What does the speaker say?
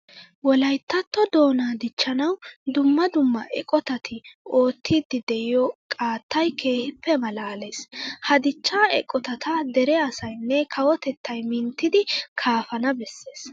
Wolayttatto doonaa dichchanawu dumma dumma eqotati oottiidi de'iyo qaattay keehippe maalaalees. Ha dichchaa eqotata dere asaynne kawotettay minttidi kaafana bessees.